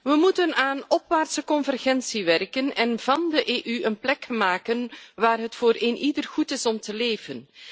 We moeten aan opwaartse convergentie werken en van de EU een plek maken waar het voor eenieder goed is om te leven.